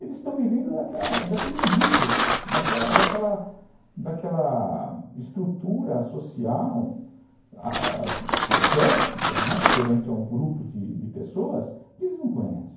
Eles estão vivendo daquela daquele mito, daquela daquela estrutura social pérfida, né, perante a um grupo de pessoas que eles não conhecem.